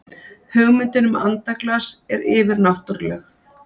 hugmyndin um andaglas er yfirnáttúrleg